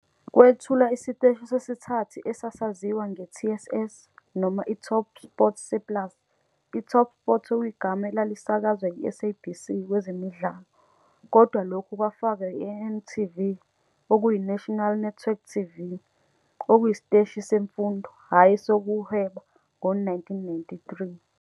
Kwethulwa isiteshi sesithathu esasaziwa nge-TSS, noma iTopSport Surplus, iTopSport okuyigama elalisakazwa yiSABC kwezemidlalo, kodwa lokhu kwafakwa iNNTV, National Network TV, okuyisiteshi semfundo, hhayi esokuhweba, ngo-1993.